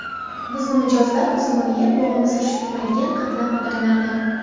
Bizni mijozlar uzumini yeb, bog‘ini surishtirmaydigan qatlam odamlardan.